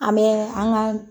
A bɛ an ga